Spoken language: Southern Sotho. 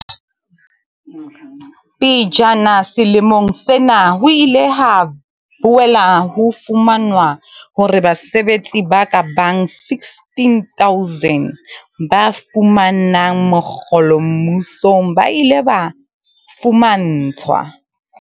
Pejana selemong sena, ho ile ha boela ho fumanwa hore basebetsi ba kabang 16 000 ba fumanang mokgolo mmusong ba ile ba fuma ntshwa